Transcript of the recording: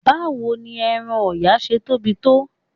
Báwo ni ẹran Ọ̀yà ṣe tóbi tó?